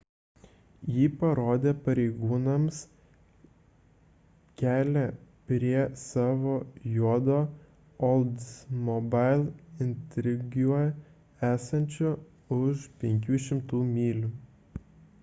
jį parodė pareigūnams kelią prie savo juodo oldsmobile intrigue esančio už 500 mylių